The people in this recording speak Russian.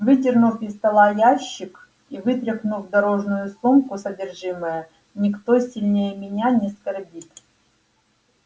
выдернув из стола ящик и вытряхнул в дорожную сумку содержимое никто сильнее меня не скорбит